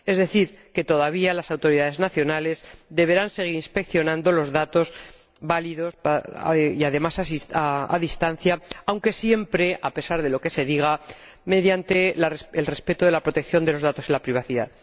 es decir, que todavía las autoridades nacionales deberán seguir inspeccionando los datos válidos y, además, a distancia, aunque siempre, a pesar de lo que se diga, mediante el respeto de la protección de los datos y la privacidad.